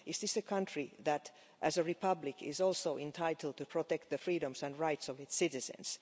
Is this a country that, as a republic, is also entitled to protect the freedoms and rights of its citizens?